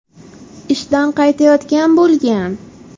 ishdan qaytayotgan bo‘lgan.